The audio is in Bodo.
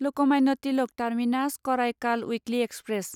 Lokmanya Tilak terminus Karaikal weekly express